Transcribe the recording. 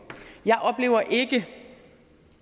jeg oplever ikke